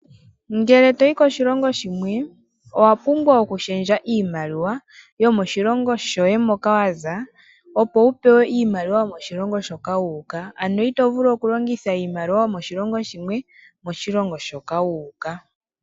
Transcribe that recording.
Ngele toyi koshilongo shimwe owa pumbwa okulundulula iimaliwa yomoshilongo shoye moka waza, opo wu pewe iimaliwa yomoshilongo shoka toyi. Ito vulu okulongitha iimaliwa yilwe kayo hayi longithwa mo.